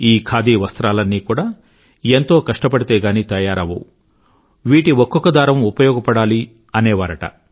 ఈ ఖాదీ వస్త్రాలన్నీ కూడా ఎంతో కష్టపడితే గాని తయారవ్వవు వీటి ఒక్కొక్క దారం ఉపయోగపడాలి అనేవారుట